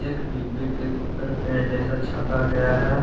एक डिब्बे के ऊपर पेड़ जैसा छपा गया है।